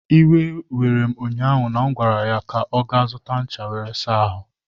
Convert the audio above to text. iwe were m ụnyaahụ na m gwara ya ka ọ gaa zụta ncha were saa ahu!